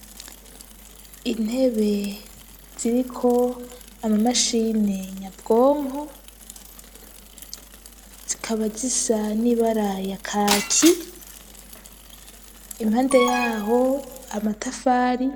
Intebe ziriko ama mashini nyabwonko zikaba zisa n'ibara ya kaki impande yaho amatafari